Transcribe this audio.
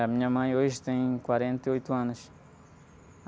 A minha mãe hoje tem quarenta e oito anos.